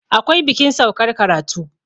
akwai bikin saukar karatu